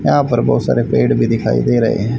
यहां पर बहुत सारे पेड़ भी दिखाई दे रहे हैं।